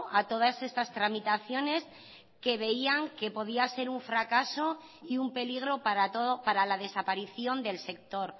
a todas estas tramitaciones que veían que podía ser un fracaso y un peligro para la desaparición del sector